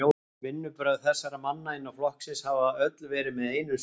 Vinnubrögð þessara manna innan flokksins hafa öll verið með einum svip